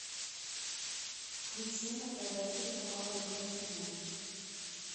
включи на тв телеканал родное кино